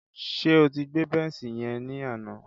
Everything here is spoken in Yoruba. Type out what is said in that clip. Ṣé o ti gbé bẹ́nṣì yẹn ni àná?